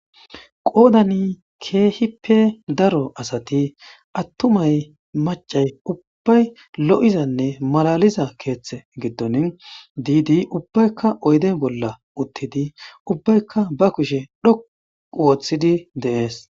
qoodani keehippe daro asati attumay macay ubbay lo7izanne malaliza keeththe giddoni diidi ubbaykka oyde bolla uttidi ubbaykka ba kushe dhoqu wooththidi deees